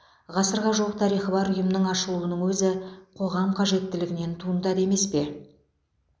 ғасырға жуық тарихы бар ұйымның ашылуының өзі қоғам қажеттілігінен туындады емес пе